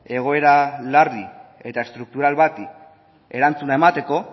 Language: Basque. egoera larri eta estruktural bati erantzuna emateko